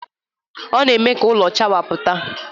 Ọ na-eme ka ụlọ chawapụta